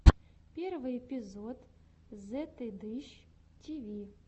первый эпизод зетыдыщ тиви